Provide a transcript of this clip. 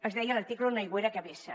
es deia l’article una aigüera que vessa